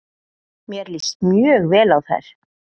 Mér líst mjög vel á þær.